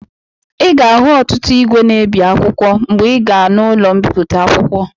Ị ga-ahụ igwe na-ebi akwụkwọ mgbe ị gaa n'ụlọ mbipụta akwụkwọ.